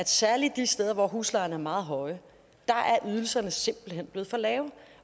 særlig de steder hvor huslejerne er meget høje simpelt hen er blevet for lave